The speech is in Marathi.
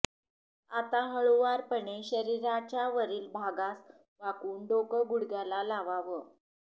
आता हळुवारपणे शरीराच्या वरील भागास वाकवून डोकं गुडघ्याला लावावं